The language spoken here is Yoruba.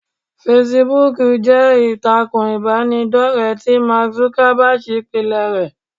Fesibúùkù jẹ́ ìtàkùn ìbánidọ́rẹ̀ẹ́ tí Mark Zuckerberg pilẹ̀ rẹ.